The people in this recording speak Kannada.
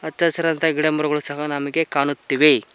ಹಚ್ಚ ಹಸಿರಾದಂತ ಗಿಡಮರಗಳು ಸಹ ನಮಗೆ ಕಾಣುತ್ತಿವೆ.